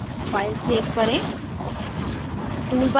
अब file save करें